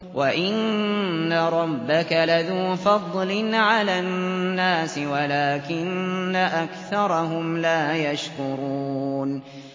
وَإِنَّ رَبَّكَ لَذُو فَضْلٍ عَلَى النَّاسِ وَلَٰكِنَّ أَكْثَرَهُمْ لَا يَشْكُرُونَ